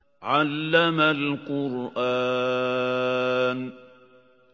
عَلَّمَ الْقُرْآنَ